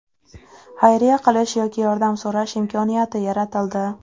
Xayriya qilish yoki yordam so‘rash imkoniyati yaratildi.